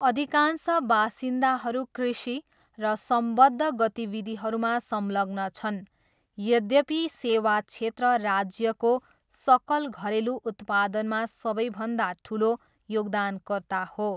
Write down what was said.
अधिकांश बासिन्दाहरू कृषि र सम्बद्ध गतिविधिहरूमा संलग्न छन्, यद्यपि सेवा क्षेत्र राज्यको सकल घरेलु उत्पादनमा सबैभन्दा ठुलो योगदानकर्ता हो।